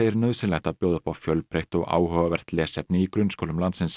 nauðsynlegt að bjóða upp á fjölbreytt og áhugavert lesefni í grunnskólum landsins